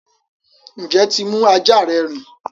Njẹ tí mú ajá rẹ rìn?